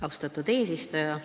Austatud eesistuja!